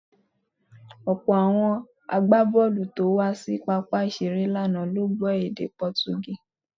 Ọ̀pọ̀ àwọn agbábọ̀ọ̀lù tó wá sí pápá ìṣeré lánàá ló gbọ́ èdè Pọtugí.